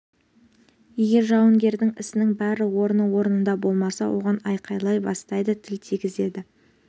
егер жауынгердің ісінің бәрі орны орнында болмаса оған айқайлай бастайды тіл тигізеді